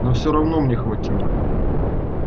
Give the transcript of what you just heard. но всё равно мне хватило